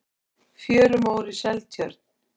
fjörumór í seltjörn